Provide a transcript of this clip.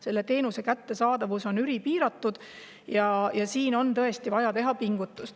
Selle teenuse kättesaadavus on ülipiiratud ja siin on tõesti vaja teha pingutusi.